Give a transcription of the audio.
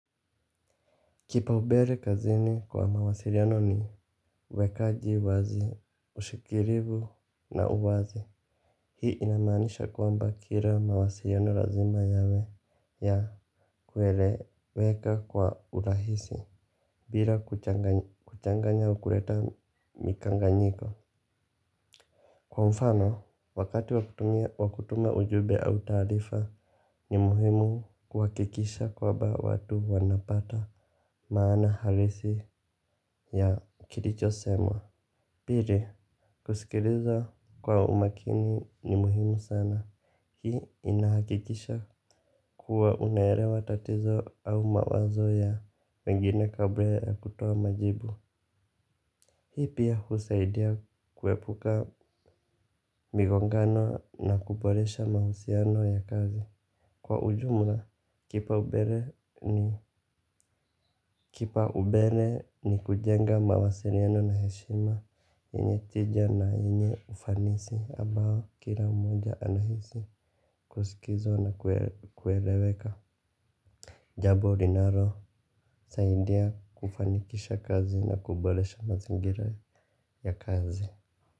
Kipaombele kazini kwa mawasiliano ni uwekaji wazi ushikilivu na uwazi. Hii inamanisha kwamba kila mawasiliano lazima yawe ya kueleweka kwa urahisi bila kuchanganya au kuleta mikanganyiko. Kwa mfano wakati wakutuma ujumbe au taarifa ni muhimu kuhakikisha kwamba watu wanapata maana halisi ya kilicho semwa. Pili kusikiliza kwa umakini ni muhimu sana. Hii inahakikisha kuwa unaelewa tatizo au mawazo ya wengine kabla ya kutoa majibu. Hii pia husaidia kuepuka migongano na kuboresha mahusiano ya kazi. Kwa ujumla kipaombele ni kujenga mawasiliano na heshima. Yenye tija na yenye ufanisi ambao kila mmoja anahisi kuskizwa na kueleweka. Jambo linalo saidia kufanikisha kazi na kuboresha mazingira ya kazi.